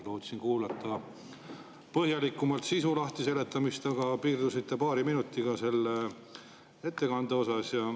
Lootsin kuulata põhjalikumat sisu lahtiseletamist, aga te piirdusite paari minutiga selles ettekandes.